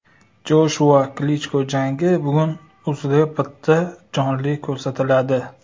Joshua Klichko jangi bugun UzReportda jonli ko‘rsatiladi.